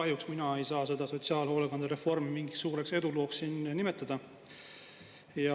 Kahjuks mina ei saa seda sotsiaalhoolekandereformi mingiks suureks edulooks siin nimetada.